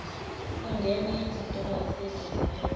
ungenye yezintokazi eziziphethe